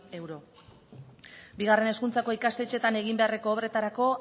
euro bigarren hezkuntzako ikastetxetan egin beharreko obretarako